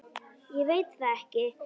Ég veit það ekki!